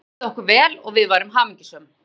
Þá liði okkur vel og við værum hamingjusöm.